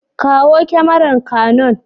Kawo kyamarar canon.